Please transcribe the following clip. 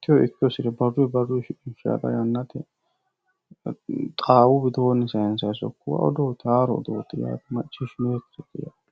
techo ikke hosire barru barrunni shiqqishannire yanna yannate xaawu widooni sayinsannitta haaro odooti maccishinonnikkite yaate.